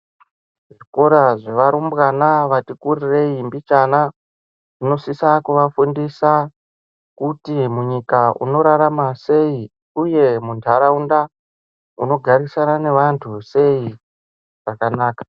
Zviro zvevarumbwana vati kurirei mbichana inosisa kuvafundisa kufi munyika unorarama sei uye mundsraunda unogarisana neantu sei zvakanaka.